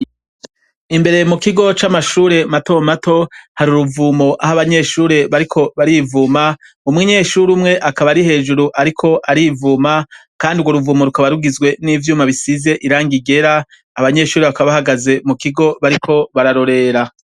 Imbere mu kigo c'amashure mato mato hari uruvumo aho abanyeshure bariko barivuma umunyeshuri umwe akaba ari hejuru ariko arivuma kandi ugwo ruvumo rukaba rugizwe n'ivyuma bisize irangi ryera abanyeshure bakaba bahagaze mu kigo bariko bararorera.